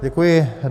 Děkuji.